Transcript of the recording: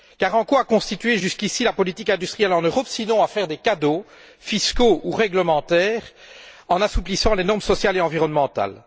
Car en quoi a consisté, jusqu'ici, la politique industrielle en Europe, sinon à faire des cadeaux fiscaux ou réglementaires en assouplissant les normes sociales et environnementales?